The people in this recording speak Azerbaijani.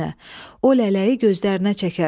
O lələyi gözlərinə çəkərsən.